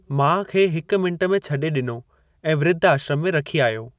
माउ खे हिक मिंटु में छॾे डि॒नो ऐं वृद्ध आश्रमु में रखी आयो।